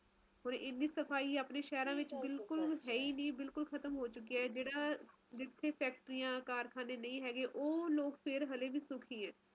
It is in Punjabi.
ਦਫਤਰ ਵਾਲਿਆਂ ਨੂੰ ਨਹੀਂ ਆਪਾ ਕਹਿ ਸਕਦੇ ਬੱਚਿਆਂ ਨੂੰ ਛੁੱਟੀਆਂ ਕਰਕੇ ਜ਼ਆਦਾਤਰ ਲੋਕ ਹੀ ਜਾਂਦੇ ਆ ਘੁੰਮਣ ਫਿਰਨ ਪਰ ਮੈਨੂੰ ਤਾ ਸਚੀ ਬੋਲੋ ਤਾ ਇਹ ਜਾ ਮੌਸਮ ਪੰਸਦ ਹੀ ਨਹੀਂ ਹੈ ਸਰਦੀਆਂ ਮੈਨੂੰ ਜਵਾ ਨਹੀਂ ਪਸੰਦ ਨਹੀਂ ਹੈ ਮੈਨੂੰ ਤਾ ਅਏ ਹੁੰਦਾ ਹੈ ਨਾ ਮੌਸਮ ਹੋਵੇ ਜਿਵੇ